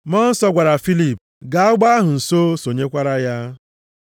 Mmụọ Nsọ gwara Filip, “Gaa ụgbọ ahụ nso, sonyekwara ya.”